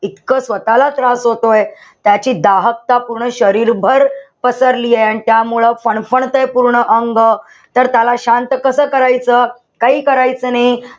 इतकं स्वतःला त्रास होतोय. त्याची दाहकता पूर्ण शरीरभर पसरलीये. त्यामुळं फणफणतयं पूर्ण अंग. तर त्याला शांत कसं करायचं. काही करायचं नाही.